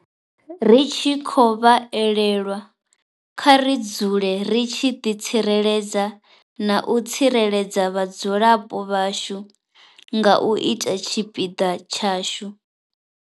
Ri tshi khou vha elelwa, kha ri dzule ri tshi ḓitsireledza na u tsireledza vhadzulapo vhashu nga u ita tshipiḓa tshashu.